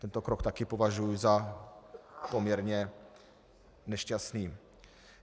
Tento krok taky považuji za poměrně nešťastný.